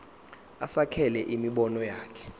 asekele imibono yakhe